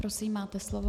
Prosím, máte slovo.